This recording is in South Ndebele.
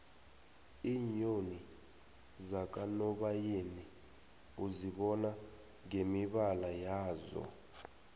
iinyoni zakanobayeni uzibona ngemibala yazo